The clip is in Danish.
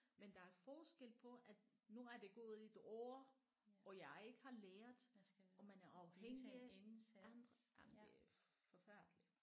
Men der er forskel på at nu er der gået et år og jeg ikke har lært og man er afhængig af andre jamen det er forfærdeligt